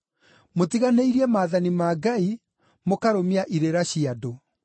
Mũtiganĩirie maathani ma Ngai, mũkarũmia irĩra cia andũ.”